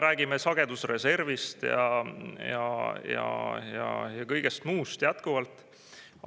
Räägime sagedusreservist ja kõigest muust jätkuvalt.